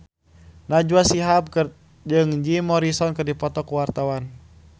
Najwa Shihab jeung Jim Morrison keur dipoto ku wartawan